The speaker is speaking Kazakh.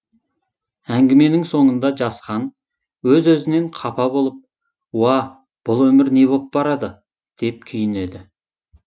әңгіменің соңында жасхан өз өзінен қапа болып уа бұл өмір не боп барады деп күйінеді